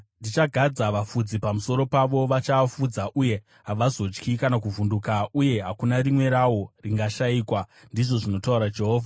Ndichagadza vafudzi pamusoro pavo vachaafudza, uye havazotyi kana kuvhunduka, uye hakuna rimwe rawo ringashayikwa,” ndizvo zvinotaura Jehovha.